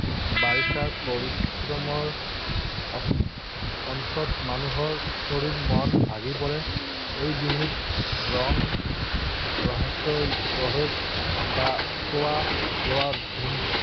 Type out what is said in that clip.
বাৰিষাৰ পৰিশ্ৰমৰ অন্তত মানুহৰ শৰীৰ, মন ভাগি পৰে। এই বিহুত ৰঙ ৰহইছ বা খোৱা লোৱাৰ ধুম